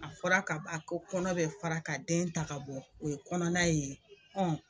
A fɔra ka ba ko kɔnɔ bɛ fara ka den ta k'a bɔ, o ye kɔnɔna ye